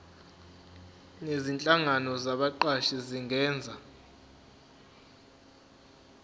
nezinhlangano zabaqashi zingenza